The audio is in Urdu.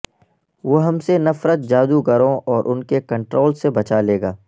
وہ ہم سے نفرت جادوگروں اور ان کے کنٹرول سے بچا لے گا